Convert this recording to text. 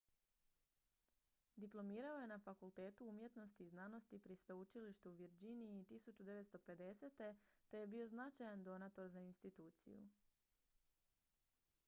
diplomirao je na fakultetu umjetnosti i znanosti pri sveučilištu u virginiji 1950. te je bio značajan donator za instituciju